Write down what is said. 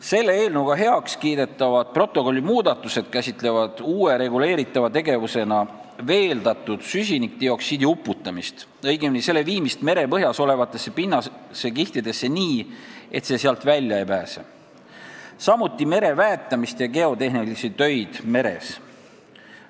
Selle eelnõuga heaks kiidetavad protokolli muudatused käsitlevad uue reguleeritava tegevusena veeldatud süsinikdioksiidi uputamist, õigemini selle viimist merepõhjas olevatesse pinnasekihtidesse nii, et see sealt välja ei pääse, samuti mere väetamist ja geotehnilisi töid meres.